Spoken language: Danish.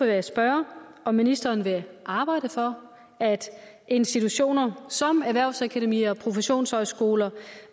jeg spørge om ministeren vil arbejde for at institutioner som erhvervsakademier og professionshøjskoler